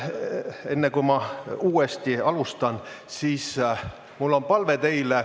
Enne, kui ma uuesti alustan, on mul teile palve.